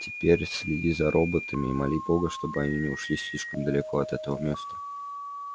теперь следи за роботами и моли бога чтобы они не ушли слишком далеко от этого места